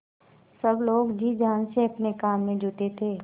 सब लोग जी जान से अपने काम में जुटे थे